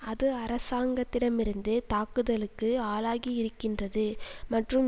அது அரசாங்கத்திடமிருந்து தாக்குதலுக்கு ஆளாகி இருக்கின்றது மற்றும்